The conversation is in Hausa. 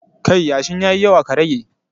Kai yashin ya yi yawa ka rage